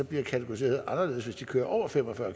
bliver kategoriseret anderledes hvis de kører over fem og fyrre